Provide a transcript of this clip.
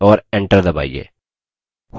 और enter दबाइए